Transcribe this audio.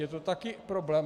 Je to taky problém.